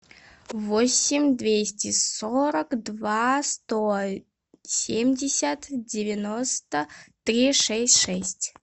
восемь двести сорок два сто семьдесят девяносто три шесть шесть